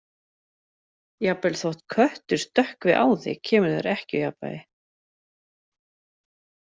Jafnvel þótt köttur stökkvi á þig kemur þér ekki úr jafnvægi.